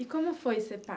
E como foi ser pai?